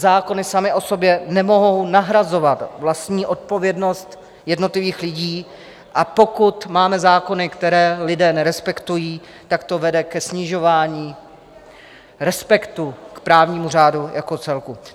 Zákony samy o sobě nemohou nahrazovat vlastní odpovědnost jednotlivých lidí, a pokud máme zákony, které lidé nerespektují, tak to vede ke snižování respektu k právnímu řádu jako celku.